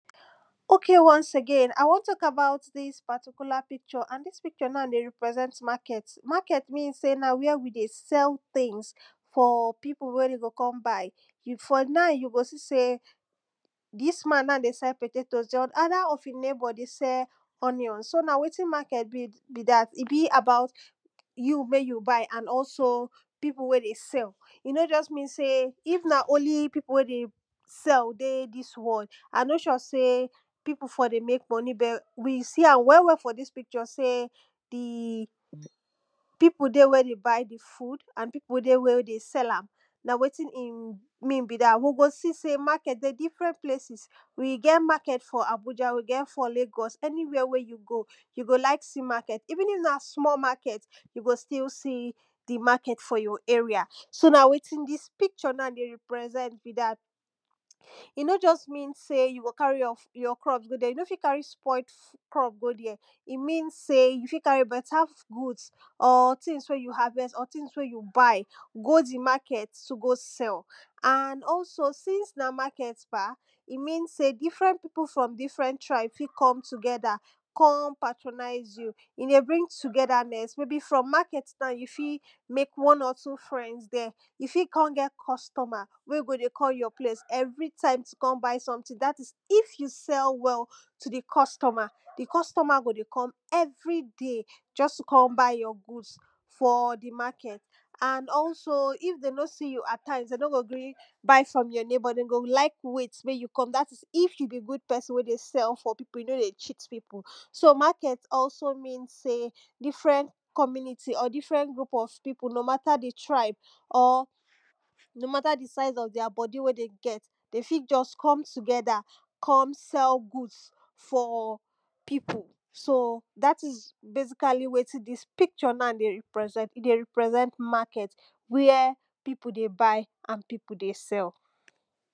ok once again i won tak about dis particular picture and dis picture na dey represent market, na market na na where we dey sell things for pipu wey de go kon buy, for now you go see sey dis man na dey sell potatoe di other of e neighbour na dey sell onions so na wetin market be be dat. e be about you mek you buy and also pipu wey dey sell. e no justmean seyif na only people wey dey sell deydis world, i no sure sey people for dey make money but we see am well well for dis picture sey de pipu dey wen e buy di food and pipu wey dey wen e sel am. na wetin e mean so be dat we go see am sey market dey different nplaces e get market for abuja, e get for lagos anywhere wey you go you go like see market even if na small market you go still see di market for your area, so na wetin dis picture na dey represent be dat. e no just mean sey you go carry your crops go there, you no fit carry spoilt crop go there. e mean sey you fit carrybeta good, or things wey you harvest, things wey you buy go the market to go sell and also since na market bah? e mmean sey different from different tribes fit com together pertronizeyou e dey bring togethrness maybe from market na, you fit mek one or two friends there, you fit kon get customer wey go dey come your place everytime to come buy something dat is if you sell ell to your customer, di customer go dey come every day to come buy just to come buy your goods for di market. and also if em no see you at times, dem no go gree buy from your neighbour den go like wait mek you come dat is if you be good pesin wey dey sell for people you no dey cheat pipu. so market als mean different community or different group of pipu no mata di tribe or no mata di size of their bodi wey de get de fit just come together come sell goods for pipiu so dat is basically wetin dis picture na dey represent. e dey represent market where pipu dey buy and pipu dey sell.